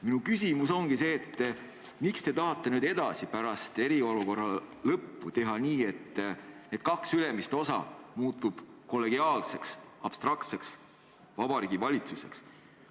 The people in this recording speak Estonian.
Minu küsimus ongi see: miks te tahate nüüd edasi, pärast eriolukorra lõppu teha nii, et kaks ülemist osa muutuvad kollegiaalseks, abstraktseks Vabariigi Valitsuseks?